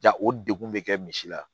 Ja o degun bɛ kɛ misi la